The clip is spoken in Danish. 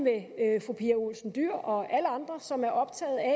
er olsen dyhr og alle andre som er optaget af